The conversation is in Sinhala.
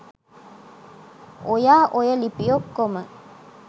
ඔයා ඔය ලිපි ඔක්කොම